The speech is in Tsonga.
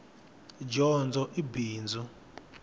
dyondzo i bindzu